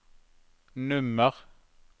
nummer